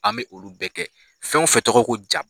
An bɛ olu bɛɛ kɛ fɛn o fɛn tɔgɔ ye ko ja.